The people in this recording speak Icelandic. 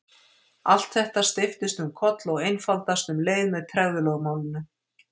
Allt þetta steypist um koll og einfaldast um leið með tregðulögmálinu.